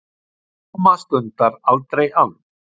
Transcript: Sóma stundar, aldrei ann